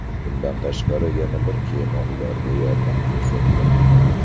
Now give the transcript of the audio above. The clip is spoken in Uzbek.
Bundan tashqari yana bir kema ularga yordam ko‘rsatgan.